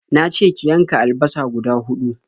Na ce ki yanka alabasa guda huɗu.